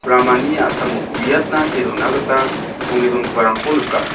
ramani a·samo uiatna see dona gita songe dongiparangko nika.